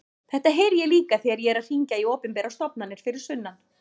Þetta heyri ég líka þegar ég er að hringja í opinberar stofnanir fyrir sunnan.